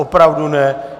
Opravdu ne.